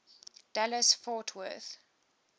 dallas fort worth